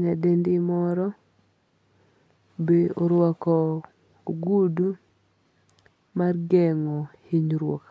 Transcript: nyadendi moro be orwako ogudu mar geng'o hinyruok